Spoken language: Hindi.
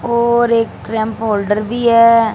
और एक फोल्डर भी है।